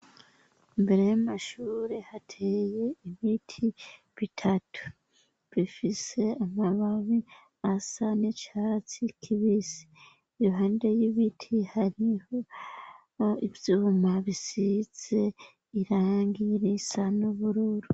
Imbere y'amashuri hateye ibiti bitatu bifise amababi asa n'icatsi kibisi iruhande y'ibiti hariho ivyuma bisize irangi risa nubururu.